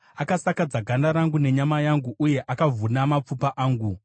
Akasakadza ganda rangu nenyama yangu uye akavhuna mapfupa angu.